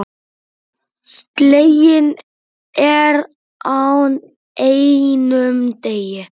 Sleginn er á einum degi.